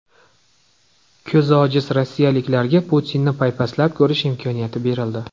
Ko‘zi ojiz rossiyaliklarga Putinni paypaslab ko‘rish imkoniyati berildi.